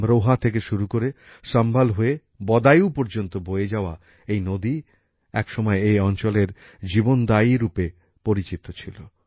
আমরোহা থেকে শুরু হয়ে সম্ভল হয়ে বদায়ু পর্যন্ত বয়ে যাওয়া এই নদী একসময় এ অঞ্চলের জীবনদাত্রী রূপে পরিচিত ছিল